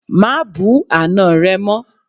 Má bú àná rẹ mọ́!